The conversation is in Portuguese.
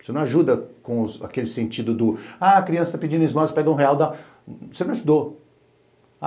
Você não ajuda com aquele sentido do... Ah, a criança está pedindo uns dólares, pega um real, dá... Você não ajudou.